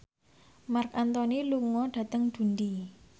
Marc Anthony lunga dhateng Dundee